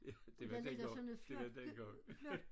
Ja det var dengang det var dengang